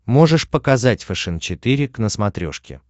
можешь показать фэшен четыре к на смотрешке